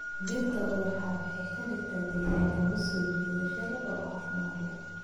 Dhirta ubaxa waxay ka dhigaan deegaanka mid soo jiidasho leh oo caafimaad leh.